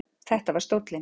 Þetta var stóllinn.